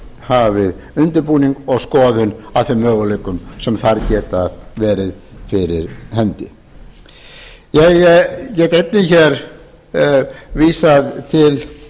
hafið undirbúning og skoðun á þeim möguleikum sem þar geta verið fyrir hendi ég get einnig vísað til